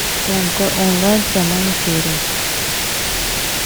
тнт онлайн в прямом эфире